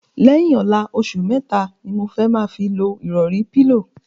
Lẹ̩́yìn ò̩la, os̩ù mé̩ta ni mo fé̩ fi máa lo ìrò̩rí/pílò.